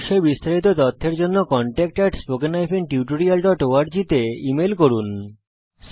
এই বিষয় বিস্তারিত তথ্যের জন্য contactspoken tutorialorg তে ইমেল করুন